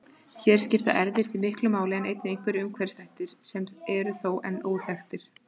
Hér skipta erfðir því miklu máli en einnig einhverjir umhverfisþættir sem eru þó enn óþekktir.